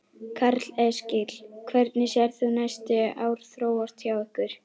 Karl Eskil: Hvernig sérð þú næstu ár þróast hjá ykkur?